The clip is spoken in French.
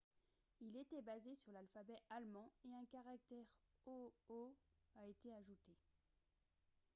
il était basé sur l'alphabet allemand et un caractère « õ/õ » a été ajouté